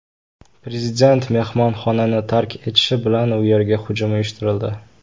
Prezident mehmonxonani tark etishi bilan u yerga hujum uyushtirildi.